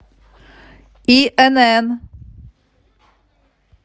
инн